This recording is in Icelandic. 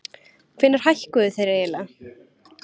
Hvenær hækkuðu þeir eiginlega?